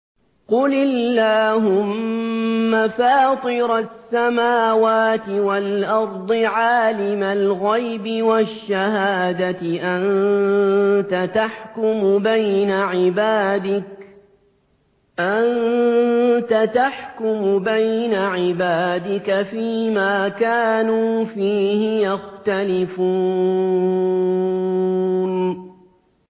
قُلِ اللَّهُمَّ فَاطِرَ السَّمَاوَاتِ وَالْأَرْضِ عَالِمَ الْغَيْبِ وَالشَّهَادَةِ أَنتَ تَحْكُمُ بَيْنَ عِبَادِكَ فِي مَا كَانُوا فِيهِ يَخْتَلِفُونَ